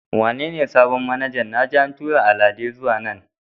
Wane ne sabon manaja na ji an tura Alade zuwa nan yau?